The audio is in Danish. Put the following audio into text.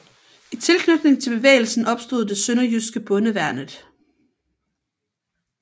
I tilknytning til bevægelsen opstod det sønderjyske Bondeværnet